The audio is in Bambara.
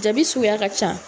Jabi suguya ka ca